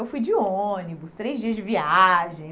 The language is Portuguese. Eu fui de ônibus, três dias de viagem.